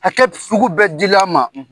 Hakɛ sugu bɛɛ di la a ma